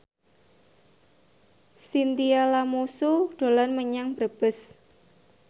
Chintya Lamusu dolan menyang Brebes